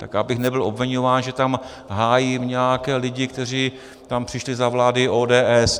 Tak abych nebyl obviňován, že tam hájím nějaké lidi, kteří tam přišli za vlády ODS.